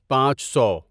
پانچ سو